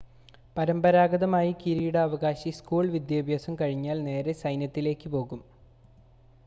പരമ്പരാഗതമായി കിരീടാവകാശി സ്കൂൾ വിദ്യാഭ്യാസം കഴിഞ്ഞാൽ നേരെ സൈന്യത്തിലേക്ക് പോകും